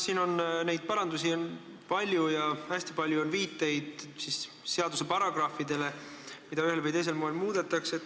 Siin on neid parandusi palju ja hästi palju on viiteid seaduse paragrahvidele, mida ühel või teisel moel muudetakse.